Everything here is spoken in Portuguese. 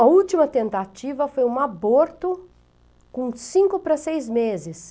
A última tentativa foi um aborto com cinco para seis meses.